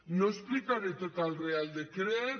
no explicaré tot el reial decret